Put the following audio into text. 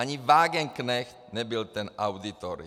Ani Wagenknecht nebyl ten auditor.